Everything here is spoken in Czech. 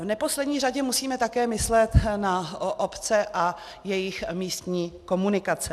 V neposlední řadě musíme také myslet na obce a jejich místní komunikace.